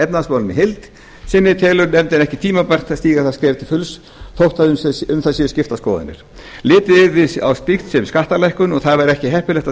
í heild sinni telur nefndin ekki tímabært að stíga það skref til fulls þótt um það séu skiptar skoðanir litið yrði á slíkt sem skattalækkun og það væri ekki heppilegt á